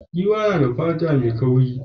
Giwa tana da fata mai kauri.